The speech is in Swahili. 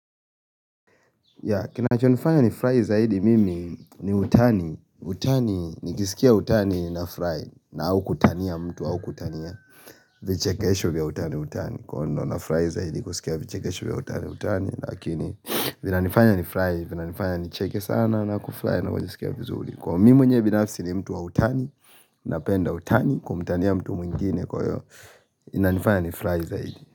Ya kinacho nifanya nifurahi zaidi mimi ni utani, utani nikisikia utani nafurahi na au kutania mtu au kutania vichekesho vya utani utani kwa ono nafurahi zaidi kusikia vichekesho vya utani utani lakini vina nifanya nifurahi vina nifanya ni cheke sana na kufurahi na kujisikia vizuri Kwa mimi mwenyewe binafsi ni mtu wa utani napenda utani kumtania mtu mwingine kwa hiyo inanifanya nifurahi zaidi.